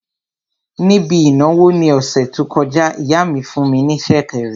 Níbi ìnáwó ní ọ̀sẹ̀ tó kọjá, ìyá mi fún ní sẹ̀kẹ̀rẹ̀